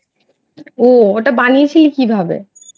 ও ওটা বানিয়েছিলি কিভাবে?